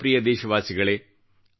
ನನ್ನ ಪ್ರಿಯ ದೇಶವಾಸಿಗಳೆ